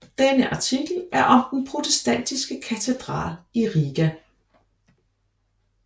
Denne artikel er om den protestantiske katedral i Riga